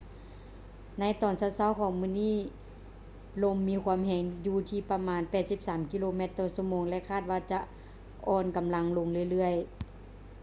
ໃນຕອນເຊົ້າໆຂອງມື້ນີ້ ລົມມີຄວາມແຮງຢູ່ທີ່ປະມານ 83 ກິໂລແມັດ/ຊົ່ວໂມງ ແລະ ຄາດວ່າຈະອ່ອນກຳລັງລົງເລື້ອຍໆ